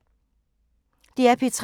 DR P3